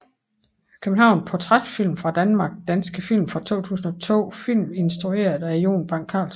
København Portrætfilm fra Danmark Danske film fra 2002 Film instrueret af Jon Bang Carlsen